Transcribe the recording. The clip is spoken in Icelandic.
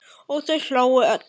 Og þau hlógu öll.